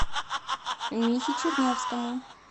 михе чернявскому